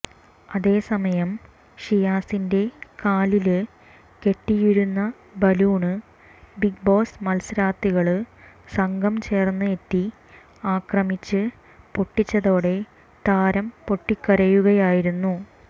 അതേസമയം ഷിയാസിന്റെ കാലില് കെട്ടിയിരുന്ന ബലൂണ് ബിഗ്ബോസ് മത്സരാര്ഥികള് സംഘം ചേര്ന്ന് എത്തി ആക്രമിച്ച് പൊട്ടിച്ചതോടെ താരം പൊട്ടിക്കരയുകയായിരുന്നു